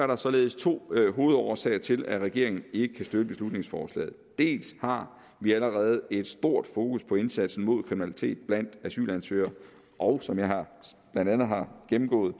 der således to hovedårsager til at regeringen ikke kan støtte beslutningsforslaget dels har vi allerede et stort fokus på indsatsen mod kriminalitet blandt asylansøgere og som jeg blandt andet har gennemgået